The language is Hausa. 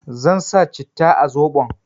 Zan sa citta a soɓon